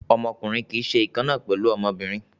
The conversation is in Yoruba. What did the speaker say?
Ọmọkùnrin kì í ṣe ìkan náà pẹ̀lú ọmọbìnrin.